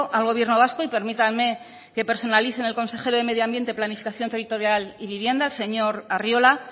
al gobierno vasco y permítanme que personalice en el consejero de medio ambiente planificación territorial y vivienda el señor arriola